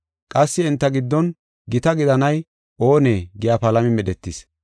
Qassi enta giddon gita gidanay oone giya palami medhetis.